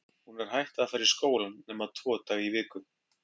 Hún er hætt að fara í skólann nema tvo daga í viku.